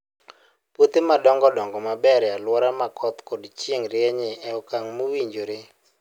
Puothe madongo dongo maber e alwora ma koth kod chieng' rieny e okang' mowinjore.